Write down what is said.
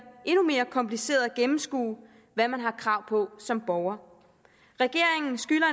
endnu mere kompliceret at gennemskue hvad man har krav på som borger regeringen skylder